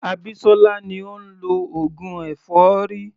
Abisola ni ó ń lọ oògùn èfọ́rí.